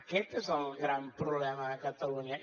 aquest és el gran problema de catalunya